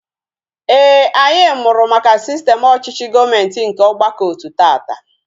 Éè, anyị mụrụ maka sistem ọchịchị gọọmenti nke ọgbakọotu taata